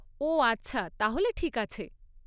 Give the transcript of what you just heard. ওহ আচ্ছা, তাহলে ঠিক আছে।